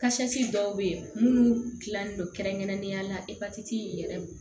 dɔw bɛ yen minnu dilannen don kɛrɛnkɛrɛnnenya la epatiti in yɛrɛ